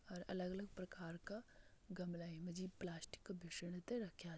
और अलग अलग प्रकार का गमला ये मा जी प्लास्टिक का रख्यां --